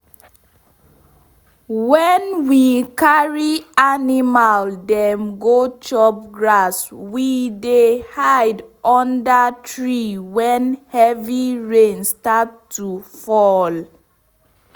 wen we carry animal dem go chop grass we dey hide under tree wen heavy rain start to fall.